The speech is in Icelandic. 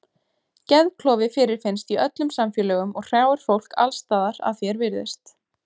Geðklofi fyrirfinnst í öllum samfélögum og hrjáir fólk alls staðar að því er virðist.